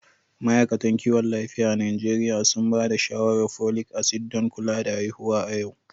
Ma’aikatan kiwon lafiya a Najeriya sun ba da shawarar folic acid don kula da haihuwa a yau.